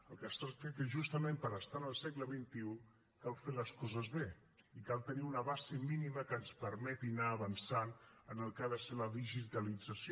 del que es tracta és que justament per estar en el segle xxi cal fer les coses bé i cal tenir una base mínima que ens permeti anar avançant en el que ha de ser la digitalització